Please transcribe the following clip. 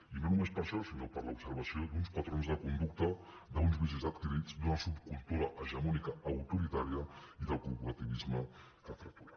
i no només per això sinó per l’observació d’uns patrons de conducta d’uns vicis adquirits d’una subcultura hegemònica autoritària i del corporativisme que fracturen